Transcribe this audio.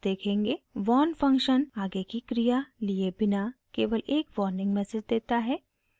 warn function आगे की क्रिया लिए बिना केवल एक वार्निंग मैसेज देता है